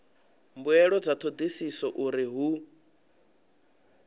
mbuelo dza thodisiso uri hu